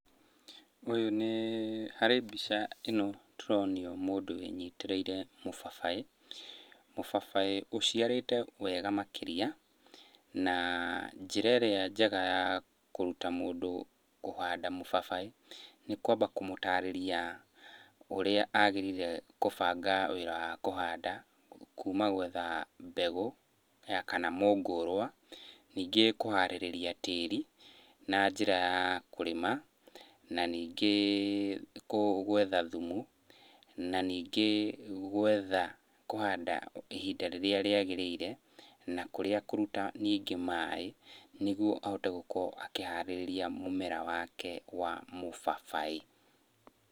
Ũyũ nĩĩ, harĩ mbica ĩno tũronio mũndũ wĩnyitĩrĩire mũbabaĩ. Mũbabaĩ ũciarĩte wega makĩria. Na njĩra ĩrĩa njega ya kũruta mũndũ kũhanda mũbabaĩ, nĩ kwamba kũmũtarĩria ũrĩa agĩrĩire kũbanga wĩra wa kũhanda, kuma gwetha mbegũ ya kana mũngũrwa, ningĩ kũharĩrĩria tĩri na njĩra ya kũrĩma, na ningĩ gwetha thumu, na ningĩ gwetha kũhanda ihinda rĩrĩa rĩagĩrĩire na kũrĩa akũruta ningĩ maĩ nĩguo ahote gũkorwo akĩharĩrĩria mũmera wake wa mũbabaĩ.